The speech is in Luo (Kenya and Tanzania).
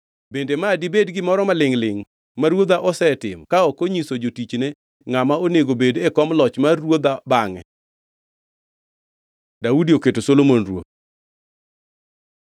Bende ma dibed gimoro malingʼ-lingʼ ma ruodha osetimo ka ok onyiso jotichne ngʼama onego bed e kom loch mar ruodha bangʼe?” Daudi oketo Solomon ruoth